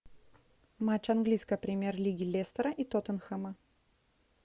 матч английской премьер лиги лестера и тоттенхэма